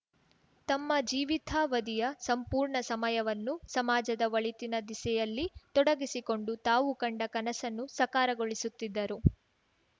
ತಮ್ಮ ಜೀವಿತಾವಧಿಯ ಸಂಪೂರ್ಣ ಸಮಯವನ್ನು ಸಮಾಜದ ಒಳಿತಿನ ದಿಸೆಯಲ್ಲಿ ತೊಡಗಿಸಿಕೊಂಡು ತಾವು ಕಂಡ ಕನಸನ್ನು ಸಾಕಾರಗೊಳಿಸುತ್ತಿದ್ದರು